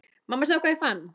Mamma sjáðu hvað ég fann!